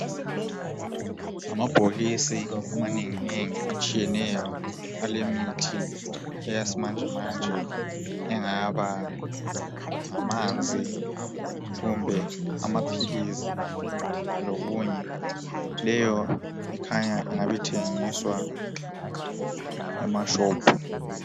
Ngamabhokisi amanengi atshiyeneyo alemithi eye simanjemanje engaba ngamanzi kumbe amaphilisi lokunye. Leyo kukhanya ingabithengiswa emashophu.